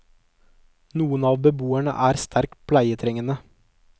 Noen av beboerne er sterkt pleietrengende.